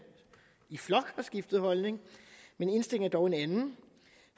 i flok har skiftet holdning men indstillingen var dog en anden